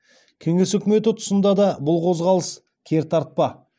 кеңес өкіметі түсында да бұл қозғалыс кертартпа